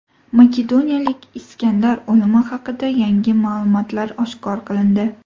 Makedoniyalik Iskandar o‘limi haqida yangi ma’lumotlar oshkor qilindi.